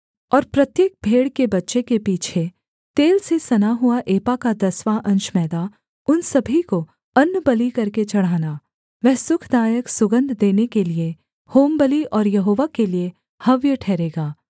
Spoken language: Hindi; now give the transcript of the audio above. और प्रत्येक भेड़ के बच्चे के पीछे तेल से सना हुआ एपा का दसवाँ अंश मैदा उन सभी को अन्नबलि करके चढ़ाना वह सुखदायक सुगन्ध देने के लिये होमबलि और यहोवा के लिये हव्य ठहरेगा